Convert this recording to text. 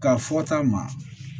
Ka fɔ ta ma